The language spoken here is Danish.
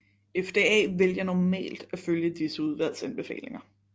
FDA vælger normalt at følge disse udvalgs anbefalinger